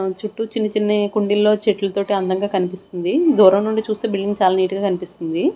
ఆ చుట్టూ చిన్న చిన్నాయి కుండీల్లో చెట్లతోటి అందంగా కనిపిస్తుంది దూరం నుండి చూస్తే బిల్డింగ్ చాలా నీట్ గా కనిపిస్తుంది.